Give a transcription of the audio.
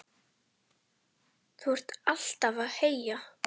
Þú ert alltaf að heyja,